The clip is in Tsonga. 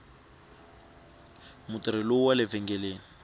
mutirhi wale vhengeleni